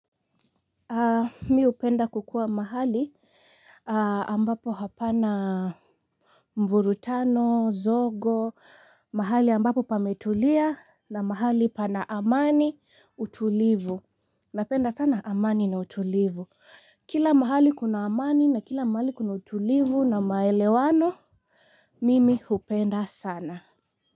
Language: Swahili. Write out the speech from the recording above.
Mi hupenda kukuwa mahali ambapo hapana mvurutano zogo mahali ambapo pametulia na mahali pana amani utulivu napenda sana amani na utulivu kila mahali kuna amani na kila mahali kuna utulivu na maelewano mimi hupenda sana.